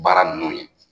Baara ninnu ye